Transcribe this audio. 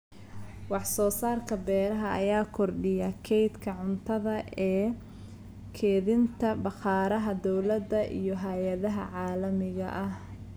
Wax soo saarka beeraha ayaa kordhiya kaydka cuntada ee kaydinta bakhaarada dawladda iyo hay'adaha caalamiga ah.